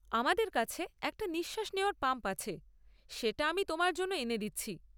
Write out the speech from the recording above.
আমাদের কাছে একটা নিঃশ্বাস নেওয়ার পাম্প আছে; সেটা আমি তোমার জন্য এনে দিচ্ছি।